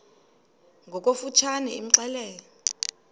ngokofu tshane imxelele